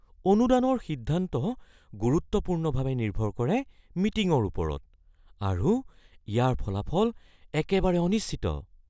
অনুদানৰ সিদ্ধান্ত গুৰুত্বপূৰ্ণভাৱে নিৰ্ভৰ কৰে মিটিঙৰ ওপৰত আৰু ইয়াৰ ফলাফল একেবাৰে অনিশ্চিত।